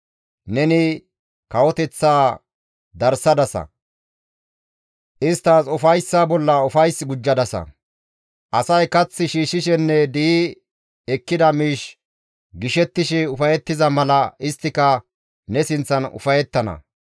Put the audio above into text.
Neni kawoteththaa darsadasa; isttas ufayssaa bolla ufays gujjadasa; asay kath shiishshishenne di7i ekkida miish gishettishe ufayettiza mala isttika ne sinththan ufayettana.